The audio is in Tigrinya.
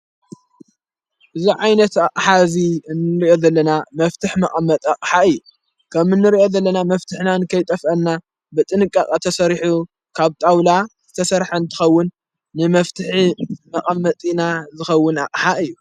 እዝ ዓይነት ሓዚ እንርዮ ዘለና መፍትሕ መቐመጣ እዩ ከም እንርዮ ዘለና መፍትሕናን ከይጠፍአና ብጥንቃቐ ተሠሪሑ ካብ ጣውላ ዘተሠርሐ ትኸውን ንመፍትሕ መቐመጢና ዝኸውን ኣሓ እዩ።